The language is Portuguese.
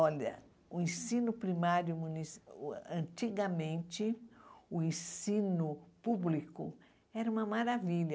Olha, o ensino primário munici, antigamente, o ensino público era uma maravilha.